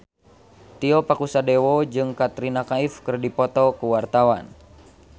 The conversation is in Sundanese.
Tio Pakusadewo jeung Katrina Kaif keur dipoto ku wartawan